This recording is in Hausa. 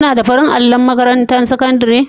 Kuna da farin allon a makatantarku ta sakandare?